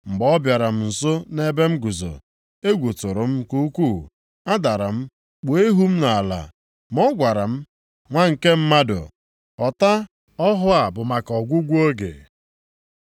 Mgbe ọ bịara m nso nʼebe m guzo, egwu tụrụ m nke ukwu. Adara m, kpuo ihu m nʼala. Ma ọ gwara m, “Nwa nke mmadụ, ghọta na ọhụ a bụ maka ọgwụgwụ oge.”